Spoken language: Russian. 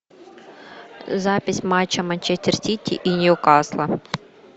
запись матча манчестер сити и ньюкасла